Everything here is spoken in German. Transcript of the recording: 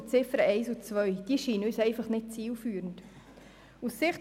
Besonders die Ziffern 1 und 2 scheinen uns nicht zielführend zu sein.